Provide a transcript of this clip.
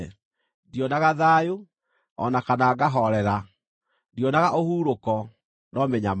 Ndionaga thayũ, o na kana ngahoorera; ndionaga ũhurũko, no mĩnyamaro.”